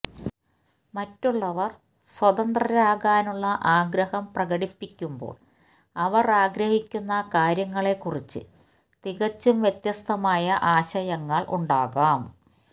മറ്റുള്ളവർ സ്വതന്ത്രരാകാനുള്ള ആഗ്രഹം പ്രകടിപ്പിക്കുമ്പോൾ അവർ ആഗ്രഹിക്കുന്ന കാര്യങ്ങളെക്കുറിച്ച് തികച്ചും വ്യത്യസ്തമായ ആശയങ്ങൾ ഉണ്ടാകാം